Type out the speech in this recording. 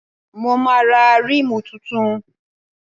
Mo máa ra rímù tuntun.